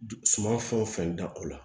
Du suma fɛn o fɛn da o la